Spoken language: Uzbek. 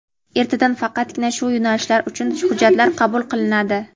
ertadan faqatgina shu yo‘nalishlari uchun hujjatlar qabul qilinadi.